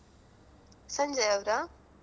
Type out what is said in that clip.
ಸಂಜಯ್ ಅವರಾ?